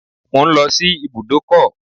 I'm going to the garage